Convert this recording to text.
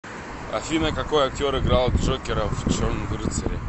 афина какои актер играл джокера в черном рыцаре